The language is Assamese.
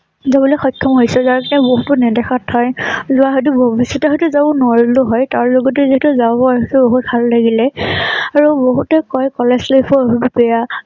শক্ষম হৈছোঁ । যাৰ বাবে বহুতো নেদেখা ঠাই যোৱা হয়টো বেছিকৈ হয়তো যাব নোৱাৰিলোঁ হয় । তাৰ লগতে যদি যাব পৰিছে বহুত ভাল লাগিলে আৰু বহুতে কয় কলেজ life ৰ বহুত বেয়া